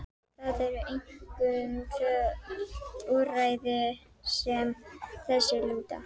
Það eru einkum tvö úrræði sem að þessu lúta.